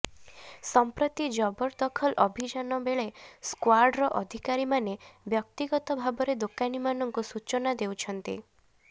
ସଂପ୍ରତି ଜବରଦଖଲ ଅଭିଯାନ ବେକେ ସ୍କ୍ବାଡ୍ର ଅଧିକାରୀମାନେ ବ୍ୟକ୍ତିଗତ ଭାବରେ ଦୋକାନୀମାନଙ୍କୁ ସୂଚନା ଦେଉଛନ୍ତି